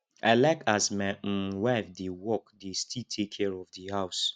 i like as my um wife dey work dey still take care of di house